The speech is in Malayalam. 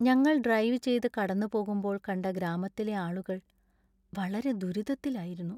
ഞങ്ങൾ ഡ്രൈവ് ചെയ്ത് കടന്നുപോകുമ്പോൾ കണ്ട ഗ്രാമത്തിലെ ആളുകൾ വളരെ ദുരിതത്തിലായിരുന്നു.